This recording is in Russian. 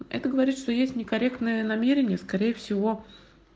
это говорит что есть некорректная намерение скорее всего